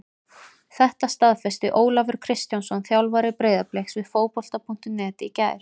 Þetta staðfesti Ólafur Kristjánsson þjálfari Breiðabliks við Fótbolta.net í gær.